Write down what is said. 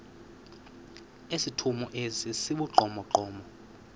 esithomo esi sibugqomogqomo